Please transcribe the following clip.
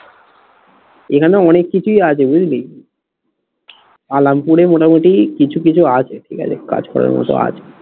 এখানে অনেক কিছুই আছে বুঝলি আলামপুরে মোটামুটি কিছু কিছু আছে ঠিক আছে কাজ করার মতো আছে